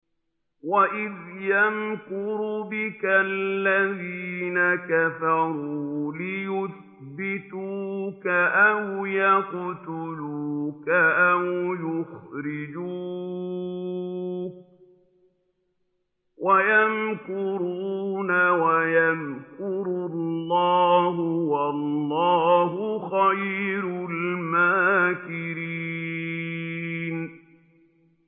وَإِذْ يَمْكُرُ بِكَ الَّذِينَ كَفَرُوا لِيُثْبِتُوكَ أَوْ يَقْتُلُوكَ أَوْ يُخْرِجُوكَ ۚ وَيَمْكُرُونَ وَيَمْكُرُ اللَّهُ ۖ وَاللَّهُ خَيْرُ الْمَاكِرِينَ